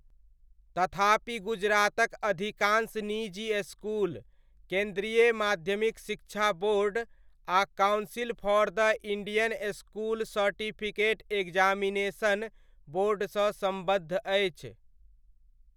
तथापि गुजरातक अधिकांश निजी इसकुल केन्द्रीय माध्यमिक शिक्षा बोर्ड आ council for the Indian school certificate examination बोर्डसँ सम्बद्ध अछि।